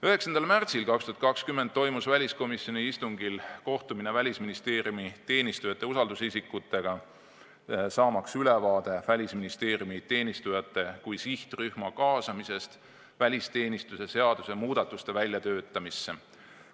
9. märtsil 2020 toimus väliskomisjoni istungil kohtumine Välisministeeriumi teenistujate usaldusisikutega, saamaks ülevaade Välisministeeriumi teenistujate kui sihtrühma kaasamisest välisteenistuse seaduse muudatuste väljatöötamisse.